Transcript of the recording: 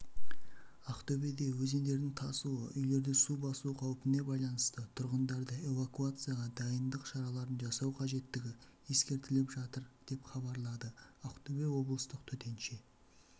ақтөбеде өзендердің тасуы үйлерді су басу қаупіне байланысты тұрғындарды эвакуацияға дайындық шараларын жасау қажеттігі ескертіліп жатыр деп хабарлады ақтөбе облыстық төтенше